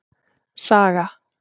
Saga